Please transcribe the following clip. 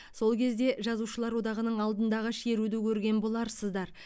сол кезде жазушылар одағының алдындағы шеруді көрген боларсыздар